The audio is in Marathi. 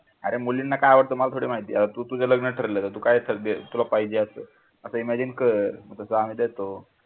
अरे मुलींना काय आवडतं मला थोडी माहिती आता तू तुझं लग्न ठरलं तर तुला काय पाहिजे अस imagine कर मग तसा मी देतो.